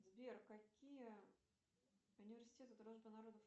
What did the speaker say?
сбер какие университеты дружбы народов